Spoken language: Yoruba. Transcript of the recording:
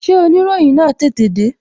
Ṣé oniroyin na tètè de?